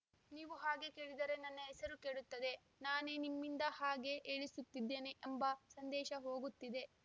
ನೀವು ಹಾಗೆ ಕೇಳಿದರೆ ನನ್ನ ಹೆಸರು ಕೆಡುತ್ತದೆ ನಾನೇ ನಿಮ್ಮಿಂದ ಹಾಗೆ ಹೇಳಿಸುತ್ತಿದ್ದೇನೆ ಎಂಬ ಸಂದೇಶ ಹೋಗುತ್ತಿದೆ